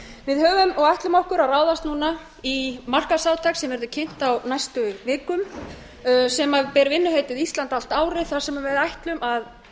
við höfum og ætlum okkur að ráðast núna í markaðsátak sem verður kynnt á næstu vikum sem ber vinnuheitið ísland allt árið þar sem við ætlum að